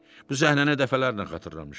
Bu səhnəni dəfələrlə xatırlamışdı.